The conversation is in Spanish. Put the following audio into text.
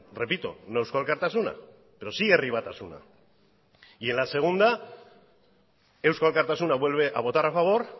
repito no eusko alkartasuna pero sí herri batasuna y en la segunda eusko alkartasuna vuelve a votar a favor